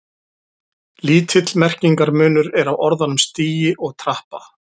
Lítill merkingarmunur er á orðunum stigi og trappa.